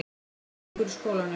Hvernig gengur í skólanum?